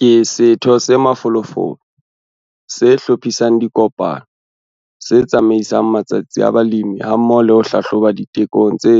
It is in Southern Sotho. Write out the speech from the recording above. Ke setho se mafolofolo, se hlophisang dikopano, se tsamaisang matsatsi a balemi hammoho le ho hlahloba ditekong tse